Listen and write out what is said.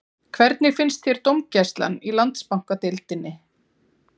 Hvernig finnst þér dómgæslan í Landsbankadeildinni?